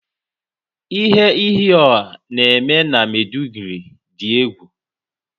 Ihe iyi ọh na eme na Maiduguri dị egwu